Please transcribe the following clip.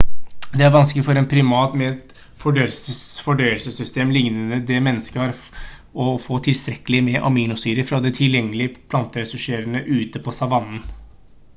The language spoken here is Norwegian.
det er vanskelig for en primat med et fordøyelsessystem lignende det mennesker har å få tilstrekkelig med aminosyrer fra de tilgjengelige planteressursene ute på savannen